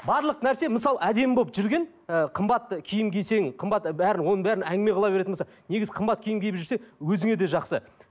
барлық нәрсе мысалы әдемі болып жүрген ы қымбат киім кисең қымбат бәрін оның бәрін әңгіме қыла беретін болса негізі қымбат киім киіп жүрсе өзіңе де жақсы